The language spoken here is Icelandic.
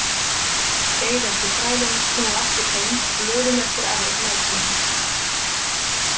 Beið eftir þrælunum snúa aftur heim glöðum eftir afrek næturinnar.